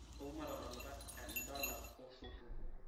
wou matadalata edola osuto